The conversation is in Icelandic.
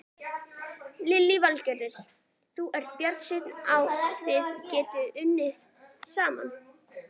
Lillý Valgerður: Þú ert bjartsýnn á þið getið unnið saman?